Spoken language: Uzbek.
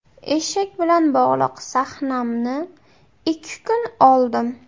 Eshak bilan bog‘liq sahnamni ikki kun oldim.